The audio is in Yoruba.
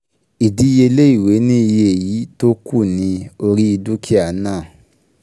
Ìdíyelé ìwé ni iye iyì tó kù ní orí dúkìá náà